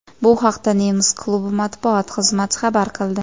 Bu haqda nemis klubi matbuot xizmati xabar qildi .